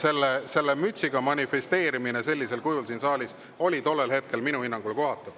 Aga selle mütsiga manifesteerimine sellisel kujul siin saalis oli tollel hetkel minu hinnangul kohatu.